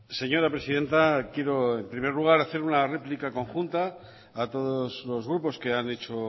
señora presidenta quiero en primer lugar hacer una réplica conjunta a todos los grupos que han hecho